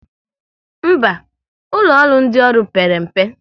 Mba, ụlọ ọrụ ndị ọrụ père mpe